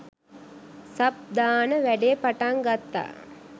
sub දාන වැඩේ පටන් ගත්තා